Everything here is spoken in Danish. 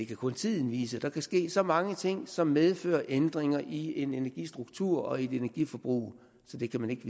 kun tiden vise der kan ske så mange ting som medfører ændringer i en energistruktur og i et energiforbrug så det kan man ikke